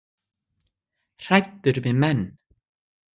Hræddur við menn